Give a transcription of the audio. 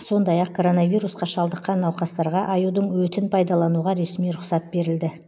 сондай ақ коронавирусқа шалдыққан науқастарға аюдың өтін пайданалуға ресми рұқсат берілді